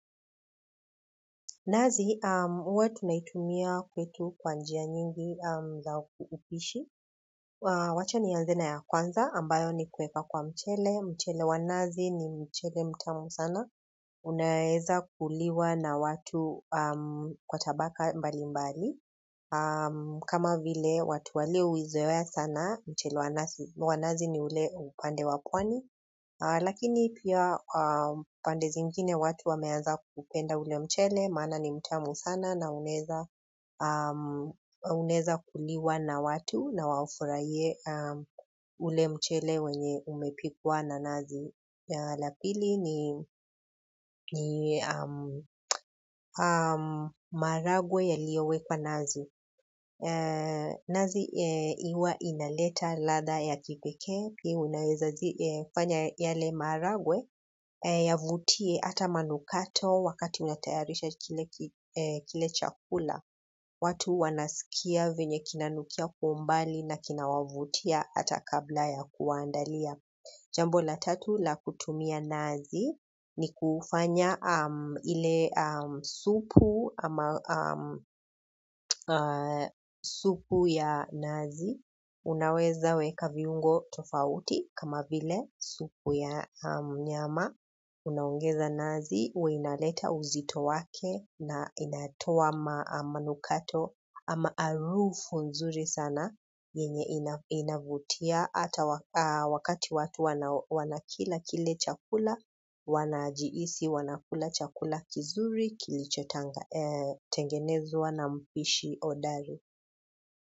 Nazi, huwa tunaitumia kwetu kwa njia nyingi za upishi. Wacha ni anze na ya kwanza ambayo ni kuweka kwa mchele. Mchele wa nazi ni mchele mtamu sana unaweza kuliwa na watu wa tabaka mbalimbali kama vile watu wale huizoea sana mchele wa nazi ni ule upande wa pwani. Lakini pia pande zingine watu wameaza kupenda ule mchele. Maana ni mtamu sana na unaweza kuliwa na watu na wafurahie ule mchele wenye umepikwa na nazi la pili ni maharagwe yaliyo wekwa nazi nazi huwa inaleta ladha ya kipekee unaweza kufanya yale maharagwe yavutie ata manukato wakati unatayarisha kile chakula watu wanaskia venye kinanukia kwa umbali na kina wavutia hata kabla ya kuwaandalia jambo la tatu la kutumia nazi ni kufanya ile supu supu ya nazi unaweza weka viungo tofauti kama vile supu ya nyama. Unaongeza nazi, huwa inaleta uzito wake na inatoa ma manukato ama harufu nzuri sana yenye inavutia hata wakati watu wanakila kile chakula, wanajihisi, wanakula chakula kizuri, kilichotengenezwa na mpishi hodari.